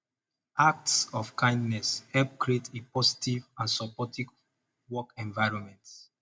acts of kindness help create a positive and supportive work environment